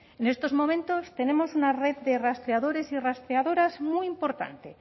en estos momentos tenemos una red de rastreadores y rastreadoras muy importante